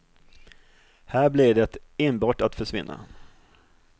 Här blev det enbart att försvinna.